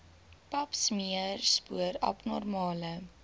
papsmeer spoor abnormale